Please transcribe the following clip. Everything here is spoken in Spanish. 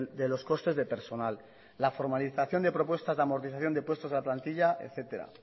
de los costes de personal la formalización de propuestas de amortización de puestos de la plantilla etcétera